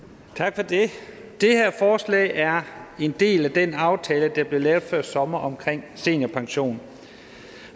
tak for det det her forslag er en del af den aftale der blev lavet før sommer omkring seniorpension